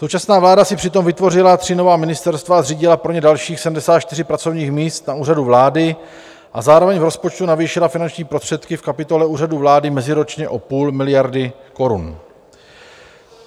Současná vláda si přitom vytvořila tři nová ministerstva a zřídila pro ně dalších 74 pracovních míst na Úřadu vlády a zároveň v rozpočtu navýšila finanční prostředky v kapitole Úřadu vlády meziročně o půl miliardy korun.